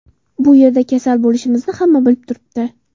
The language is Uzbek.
Bu yerda kasal bo‘lishimizni hamma bilib turibdi.